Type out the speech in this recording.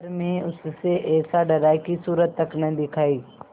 पर मैं उससे ऐसा डरा कि सूरत तक न दिखायी